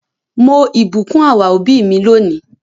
Mo ìbùkún our òbí mi lónìí.